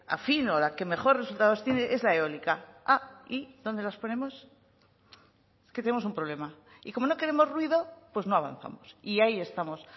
afín o la que mejor resultados tiene es la eólica y dónde las ponemos es que tenemos un problema y como no queremos ruido pues no avanzamos y ahí estamos